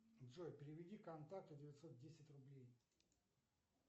джой переведи контакту девятьсот десять рублей